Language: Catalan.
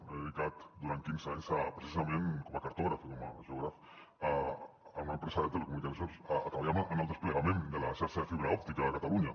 m’he dedicat durant quinze anys precisament com a cartògraf i com a geògraf en una empresa de telecomunicacions a treballar en el desplegament de la xarxa de fibra òptica de catalunya